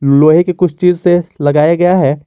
लोहे की कुछ चीज से लगाया गया है।